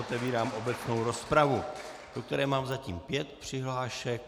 Otevírám obecnou rozpravu, do které mám zatím pět přihlášek.